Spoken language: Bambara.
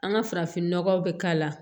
An ka farafinnɔgɔw bɛ k'a la